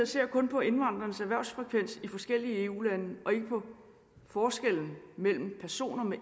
ser kun på indvandrernes erhvervsfrekvens i forskellige eu lande og ikke på forskellen mellem personer med